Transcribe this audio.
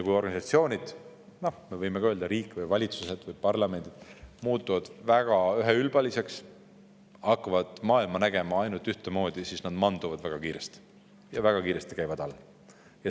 Kui organisatsioonid – me võime öelda ka riigid, valitsused või parlamendid – muutuvad väga üheülbaliseks ja hakkavad maailma nägema ainult ühtemoodi, siis nad manduvad väga kiiresti ja käivad alla.